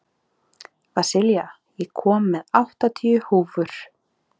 Vasilia, ég kom með áttatíu húfur!